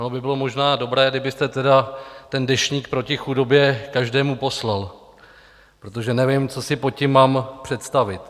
Ono by bylo možná dobré, kdybyste tedy ten deštník proti chudobě každému poslal, protože nevím, co si pod tím mám představit.